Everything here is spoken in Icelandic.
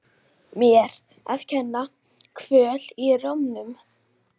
Mér að kenna- Kvöl í rómnum.